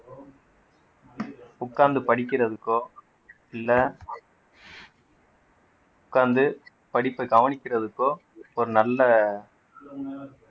உக்காந்து படிக்கறதுக்கோ இல்ல உக்காந்து படிப்பை கவனிக்கிறதுக்கோ ஒரு நல்ல